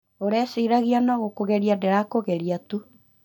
ũreciragia nogũkũgeria ndĩra kũgeragia tu